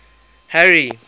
harry